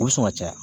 U bɛ sɔn ka caya